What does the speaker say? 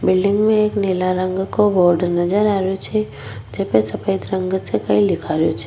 Building में एक नीला रंग का बोर्ड नजर आ रो छे जेमे सफेद रंग से कुछ लिखाई रो छे।